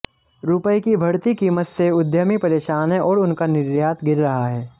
रुपये की बढ़ती कीमत से उद्यमी परेशान है और उनका निर्यात गिर रहा है